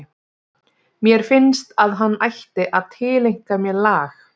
Mér finnst að hann ætti að tileinka mér lag??